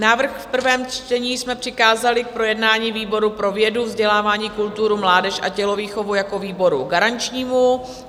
Návrh v prvém čtení jsme přikázali k projednání výboru pro vědu, vzdělávání, kulturu, mládež a tělovýchovu jako výboru garančnímu.